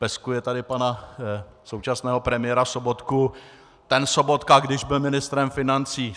Peskuje tady pana současného premiéra Sobotku: Ten Sobotka, když byl ministrem financí...